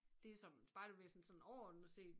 Det som spejderbevægelsen sådan overordnet set